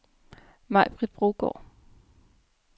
Maj-Britt Brogaard